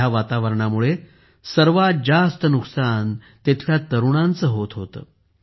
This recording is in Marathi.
ह्या वातावरणामुळे सर्वात जास्त नुकसान येथील तरुणांचे होत होते